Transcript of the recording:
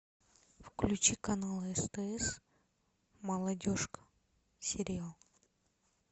включи канал стс молодежка сериал